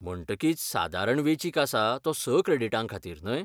म्हणटकीच, सादारण वेंचीक आसा तो स क्रॅडिटांखातीर, न्हय?